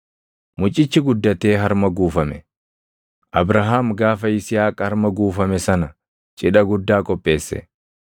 Mucichi guddatee harma guufame; Abrahaam gaafa Yisihaaq harma guufame sana cidha guddaa qopheesse.